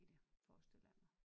I det forestiller jeg mig